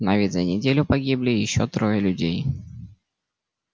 но ведь за неделю погибли ещё трое людей